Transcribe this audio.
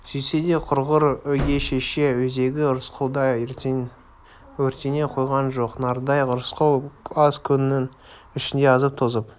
сөйтсе де құрғыр өгей шеше өзегі рысқұлдай өртене қойған жоқ нардай рысқұл аз күннің ішінде азып-тозып